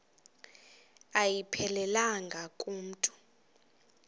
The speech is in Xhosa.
ayiphelelanga ku mntu